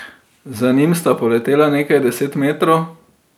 Z njim sta poletela nekaj deset metrov.